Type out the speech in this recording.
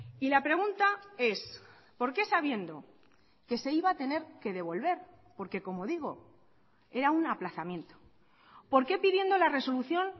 y la pregunta es por qué sabiendo que se iba a tener que devolver porque como digo era un aplazamiento por qué pidiendo la resolución